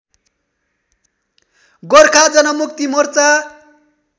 Gorkha Janmukti Morcha